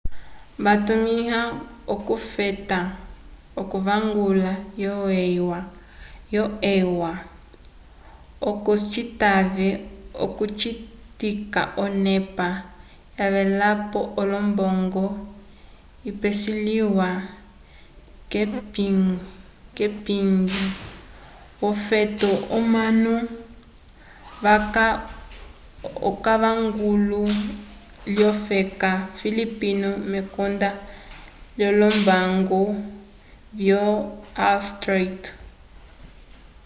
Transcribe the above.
vatumĩwa okufeta k'onguvula yo eua oco citave okucitika onepa yavelapo yolombongo yipeseliwa k'epingiyo yofeto omanu vaca k'onguvulu lyofeka filipino mekonda lyolombango vyo wall street